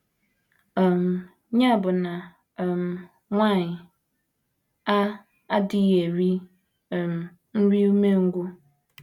um Ya bụ na um, nwanyị a adịghị eri um “ nri umengwụ. ”